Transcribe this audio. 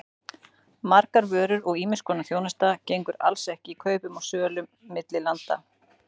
Margar vörur og ýmiss konar þjónusta gengur alls ekki kaupum og sölu milli landa.